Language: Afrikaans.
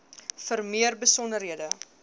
vir meer besonderhede